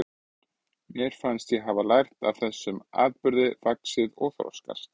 Mér fannst ég hafa lært af þessum atburðum, vaxið og þroskast.